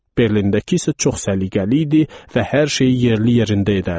Berlindəki isə çox səliqəli idi və hər şeyi yerli yerində edərdi.